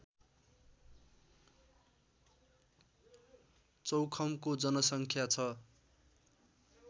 चौखमको जनसङ्ख्या छ